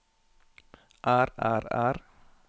er er er